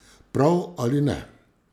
Prav ali ne.